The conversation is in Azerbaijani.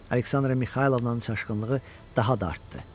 Aleksandra Mixaylovnanın çaşqınlığı daha da artdı.